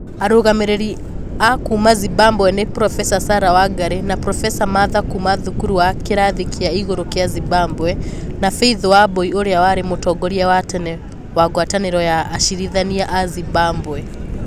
Arũgamĩrĩri a kuuma Zimbabwe nĩ: Profesa sarah wangarĩ na Profesa martha kuuma thukuru wa kĩrathi kĩa iguru kya Zimbabwe na faith wambui ũrĩa warĩ mũtongoria wa tene wa ngwatanĩro ya acirithania a Zimbabwe.